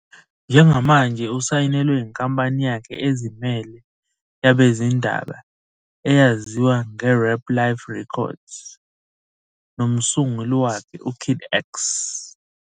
Njengamanje usayinelwe inkampani yakhe ezimele yabezindaba eyaziwa ngeRapLyf Records nomsunguli wakhe uKid X.